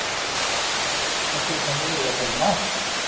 En af hverju ætli hann velji að fara í maraþon?